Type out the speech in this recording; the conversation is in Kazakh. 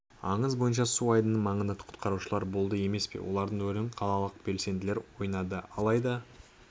аңызы бойынша су айдынының маңында құтқарушылар болды емес пе олардың рөлін қалалық белсенділер ойнады алайда